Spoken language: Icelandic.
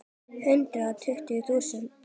Hundrað og tuttugu þúsund.